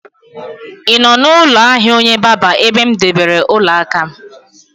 Ị nọ n'ụlọ ahịa onye barber ebe m debere ọla aka?